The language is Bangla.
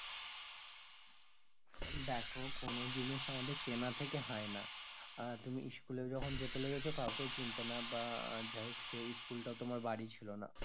দ্যাখো কোনো জিনিস আমাদের চেনা থেকে হয় না আহ তুমি school এ জোখ যেতে লেগেছ কাউকেই চিনতে না বা আর যাই হোক সেই school টাও তোমার বাড়ি ছিল না